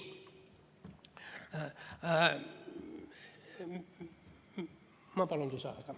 Ma palun lisaaega.